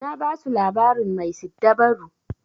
Na basu labarin mai siddabaru.